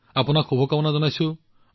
আপোনাক শুভকামনা জনাইছো